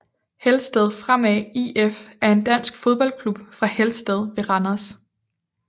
Helsted Fremad IF er en dansk fodboldklub fra Helsted ved Randers